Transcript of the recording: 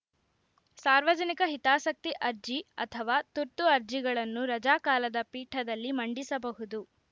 ಸಾರ್ವಜನಿಕ ಹಿತಾಸಕ್ತಿ ಅರ್ಜಿ ಅಥವಾ ತುರ್ತು ಅರ್ಜಿಗಳನ್ನು ರಜಾಕಾಲದ ಪೀಠದಲ್ಲಿ ಮಂಡಿಸಬಹುದು